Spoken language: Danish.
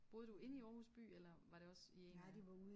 Boede du inde i Aarhus by eller var det også i en af